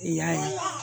I y'a ye